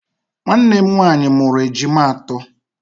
Nwannem nwaanyị mụrụ ejima atọ.